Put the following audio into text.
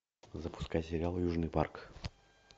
запускай сериал южный парк